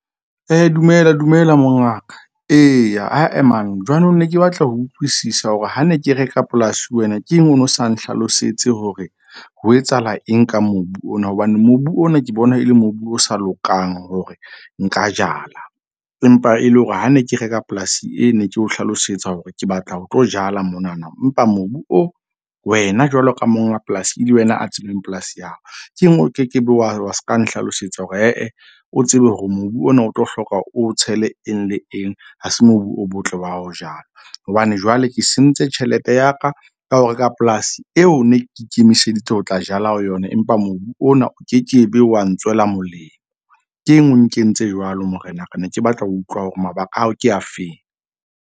Dumela, dumela mongaka eya ae jwanong ne ke batla ho utlwisisa hore ha ne ke reka polasi ho wena, ke eng o no sa nhlalosetse hore ho etsahala eng ka mobu ona. Hobane mobu ona ke bona e le mobu o sa lokang hore nka jala, empa e le hore ha ne ke reka polasi, e ne ke o hlalosetsa hore ke batla ho tlo jala monana. Empa mobu oo wena jwalo ka monga polasi e le wena a polasi ya hao. Ke eng o ke ke be wa seka nhlalosetsa hore ae o tsebe hore mobu ona o tlo hloka o tshele eng le eng. Ha se mobu o motle wa ho jala, hobane jwale ke sentse tjhelete ya ka ka ho reka polasi eo ne ke ikemiseditse ho tla jala ho yona. Empa mobu ona o ke ke be wa ntswela molemo. Ke eng o kentse jwalo morenaka? Ne ke batla ho utlwa hore mabaka ao ke afeng.